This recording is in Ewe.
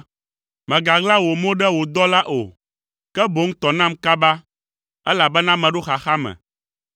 Mègaɣla wò mo ɖe wò dɔla o; ke boŋ tɔ nam kaba, elabena meɖo xaxa me.